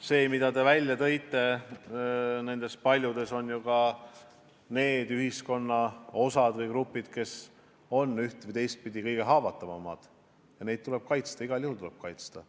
Loetelus, mille te välja tõite, on ju ka need ühiskonnagrupid, kes on üht- või teistpidi kõige haavatavamad, ja neid tuleb kaitsta – igal juhul tuleb kaitsta.